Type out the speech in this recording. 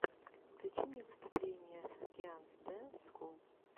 включи мне выступление саскианс дэнс скул